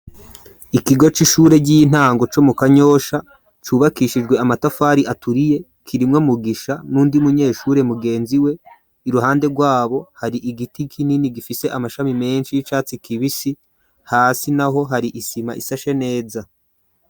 Ikigo c'ishure ry'intango co mu kanyosha ,cubakishijwe amatafari aturiye ,kirimwo Mugisha n'uwundi munyeshure mugenzi we ,iruhande rwabo hari igiti kinini gifise amashami menshi ,y'icatsi kibisi ,hasi naho hari isima isashe neza.